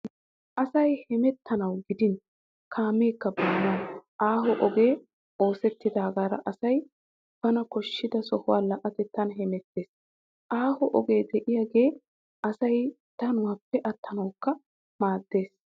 Asay hemettanawu gidin kaameekka baanawu aaho ogee oosettidaagaara asay bana koshshida sohuwa la'atettan hemettees. Aaho ogee de'iyogee asay danuwappe attanawukka maaddees.